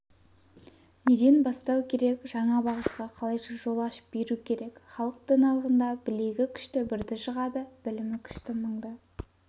неден бастау керек жаңа бағытқа қалайша жол ашып беру керек халық даналығында білегі күшті бірді жығады білімі күшті мыңды